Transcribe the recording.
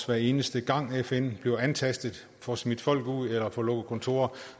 hver eneste gang fn bliver antastet får smidt folk ud eller får lukket kontorer